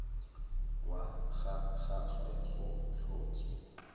wa ga gagwe go tlhotswe